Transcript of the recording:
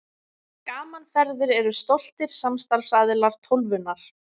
Gaman Ferðir eru stoltir samstarfsaðilar Tólfunnar.